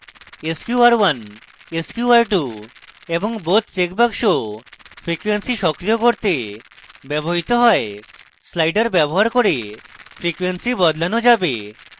sqr1 sqr2 এবং both checkbox frequency সক্রিয় করতে ব্যবহৃত হয় slider ব্যবহার করে frequency বদলানো যাবে